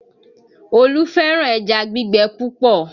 Olú fẹ́ràn ẹja gbígbẹ púpọ̀